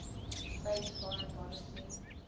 states foreign policy